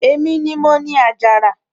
èmi ni mo ni àjàrà